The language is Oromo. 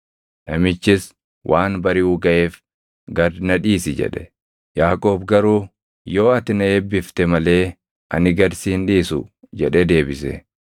Namichis, “Waan bariʼuu gaʼeef gad na dhiisi” jedhe. Yaaqoob garuu, “Yoo ati na eebbifte malee ani gad si hin dhiisu” jedhee deebise.